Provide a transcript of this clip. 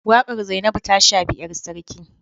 Wakar Zainabu ta shafi ‘yar sarki